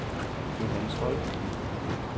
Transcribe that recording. Johannes Holt